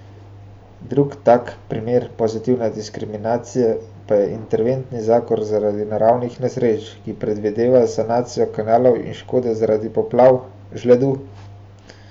Drug tak primer pozitivne diskriminacije pa je interventni zakon zaradi naravnih nesreč, ki predvideva sanacijo kanalov in škode zaradi poplav, žledu ...